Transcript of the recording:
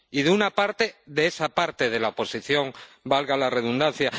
Y de una parte de esa parte de la oposición, valga la redundancia.